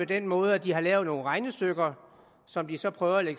den måde at de har lavet nogle regnestykker som de så prøver at